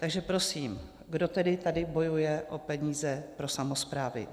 Takže prosím, kdo tedy tady bojuje o peníze pro samosprávy?